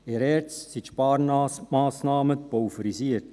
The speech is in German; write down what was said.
In der ERZ sind die Sparmassnahmen pulverisiert;